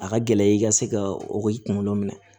A ka gɛlɛ i ka se ka o kunkolo minɛ